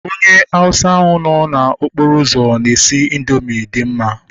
Onye Hauwsa ahu nọ n'okporo ụzọ na-esi indoomị dị mma